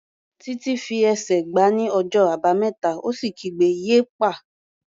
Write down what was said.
Títí fi ẹsẹ̀ gbá ní ọjọ́ Àbámẹ́ta ó sì kígbe "yéèpà!"